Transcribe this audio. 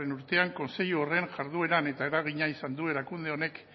urtean kontseilu horren jardueran eta eragina izan du erakunde honek